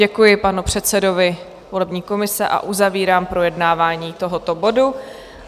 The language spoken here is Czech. Děkuji panu předsedovi volební komise a uzavírám projednávání tohoto bodu.